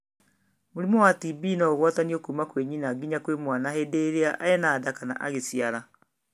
Mũrimũ wa TB no ũgwatanio kuma kwĩ nyina nginya kwĩ mwana hĩndĩ ĩrĩa ena nda kana agĩciara.